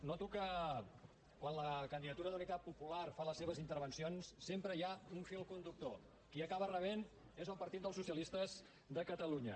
noto que quan la candidatura d’unitat popular fa les seves intervencions sempre hi ha un fil conductor qui acaba rebent és el partit dels socialistes de catalunya